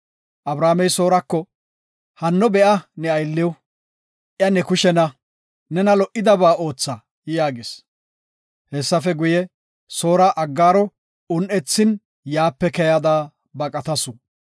Abramey Soorako, “Hanno be7a ne aylliw iya ne kushena; nena lo77idaba ootha” yaagis. Hessafe guye, Soora Aggaaro un7ethin yaape keyada baqatasu.